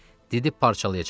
Didib parçalayacaqlar.